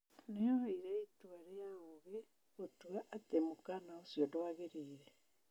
Nĩ-oire itua rĩa ũgĩ gũtua atĩ mũkaana ũcio ndwagĩrĩire.